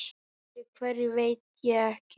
Fyrir hverju veit ég ekki.